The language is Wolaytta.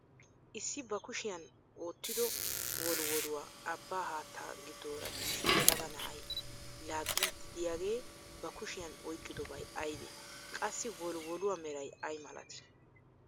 Issi ba kushiyaan oottido wolwoluwaa abbaa haattaa giddoora issi yelaga na'ay laaggidi de'iyaagee ba kushiyaan oyqqidobay aybee? Qassi wolwoluwaa meray ayi milatii?